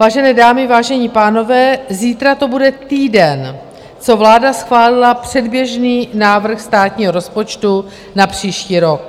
Vážené dámy, vážení pánové, zítra to bude týden, co vláda schválila předběžný návrh státního rozpočtu na příští rok.